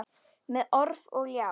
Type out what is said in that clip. Með orf og ljá.